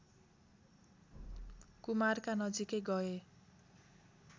कुमारका नजिकै गए